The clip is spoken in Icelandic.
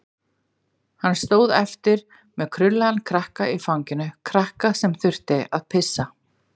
Hann stóð eftir með krullaðan krakka í fanginu, krakka sem þurfti að pissa.